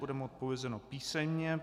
Bude mu odpovězeno písemně.